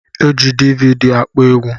Eji dividi akpọ egwu